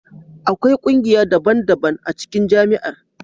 Akwai kungiya daban-daban a cikin Jami'ar.